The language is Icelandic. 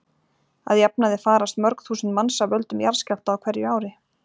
Að jafnaði farast mörg þúsund manns af völdum jarðskjálfta á hverju ári.